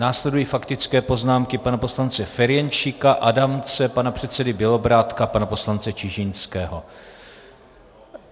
Následují faktické poznámky pana poslance Ferjenčíka, Adamce, pana předsedy Bělobrádka, pana poslance Čižinského.